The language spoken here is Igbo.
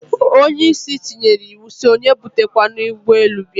Onye isi tinyere iwu, si onye ebute kwana ugbe elu bia